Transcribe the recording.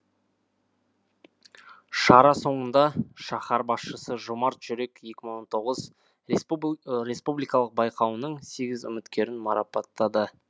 шара соңында шаһар басшысы жомарт жүрек екі мың он тоғыз республикалық байқауының сегіз үміткерін марапаттады